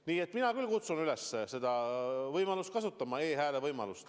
Nii et mina küll kutsun üles seda võimalust kasutama.